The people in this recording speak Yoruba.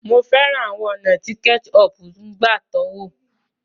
Mo fẹ́ràn àwọn ọ̀nà tí ketchup ń gbà tọ́wò.